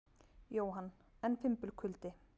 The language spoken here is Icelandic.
Jóhann: En fimbulkuldi?